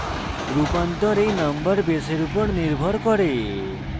রূপান্তর এই number base উপর নির্ভর করে